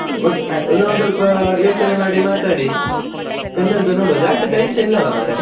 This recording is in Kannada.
ನಾವು ಸ್ವಲ್ಪ ಯೋಚನೆ ಮಾಡಿ ಮಾತಾಡಿ ಎಂತ ಅಂತ ನೋಡ್ವ ಜಾಸ್ತಿ time ಸಾ ಇಲ್ಲಾ ಅಲ್ಲಾ ಮಾರೇ?